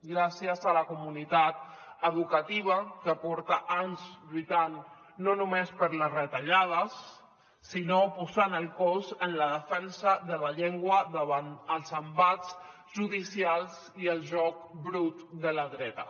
gràcies a la comunitat educativa que porta anys lluitant no només per les retallades sinó posant el cos en la defensa de la llengua davant els embats judicials i el joc brut de la dreta